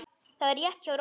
Það var rétt hjá Rósu.